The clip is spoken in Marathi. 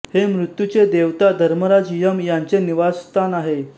हे मृत्यूचे देवता धर्मराज यम यांचे निवासस्थान आहे